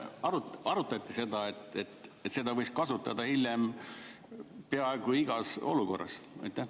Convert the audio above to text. Kas arutati seda, et seda võiks kasutada hiljem peaaegu igas olukorras?